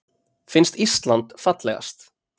Finnst Ísland fallegast